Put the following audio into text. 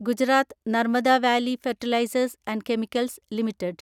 Gujarat Narmada valley fertilisers and chemicals limited